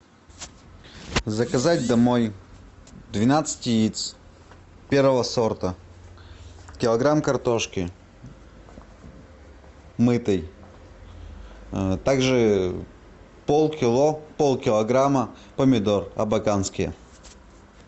заказать домой двенадцать яиц первого сорта килограмм картошки мытой также пол кило пол килограмма помидор абаканские